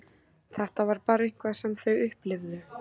Þetta var bara eitthvað sem þau upplifðu.